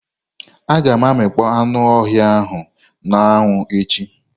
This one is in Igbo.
Aga m amịkpọ anụ ọhịa ahu na anwu echi.